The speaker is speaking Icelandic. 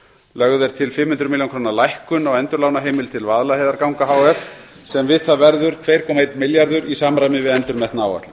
lögð er til fimm hundruð milljóna króna lækkun á endurlánaheimild til vaðlaheiðarganga h f sem við það verður tveir komma einn milljarður í samræmi við endurmetna áætlun